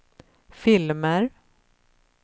filmer